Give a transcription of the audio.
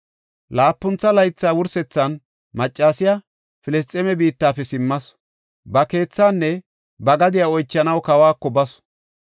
Laapuntha laytha wursethan maccasiya Filisxeeme biittafe simmasu. Ba keethaanne ba gadiya oychanaw kawako basu.